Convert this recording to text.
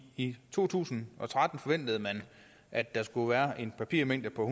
i to tusind og tretten forventede man at der skulle være en papirmængde på